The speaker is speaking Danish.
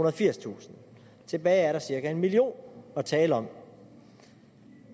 og firstusind tilbage er der cirka en million at tale om